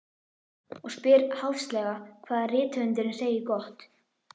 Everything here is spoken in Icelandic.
Og spyr háðslega hvað rithöfundurinn segi gott.